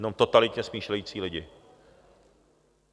Jenom totalitně smýšlející lidi.